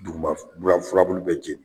Duguma furabulu bɛ jeni